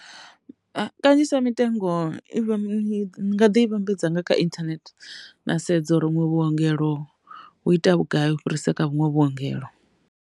Kanzhisa mitengo i i nga ḓi i vhambedza nga kha internet nda sedza uri huṅwe vhuongelo vhu ita vhugai u fhirisa kha vhunwe vhuongelo.